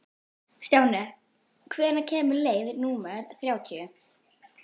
Stjáni, hvenær kemur leið númer þrjátíu?